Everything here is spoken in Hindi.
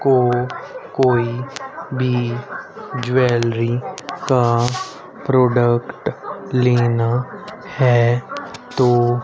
को कोई भी ज्वैलरी का प्रोडक्ट लेना है तो--